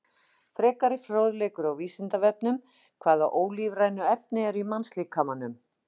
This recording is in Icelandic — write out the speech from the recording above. Frekari fróðleikur á Vísindavefnum: Hvaða ólífrænu efni eru í mannslíkamanum?